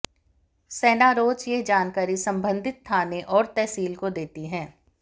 सेना रोज यह जानकारी संबंधित थाने और तहसील को देती है